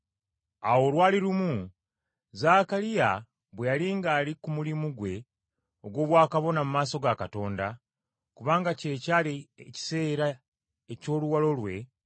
Awo lwali lumu, Zaakaliya bwe yali ng’ali ku mulimu gwe ogw’obwakabona mu maaso ga Katonda, kubanga kye kyali ekiseera eky’oluwalo lwe,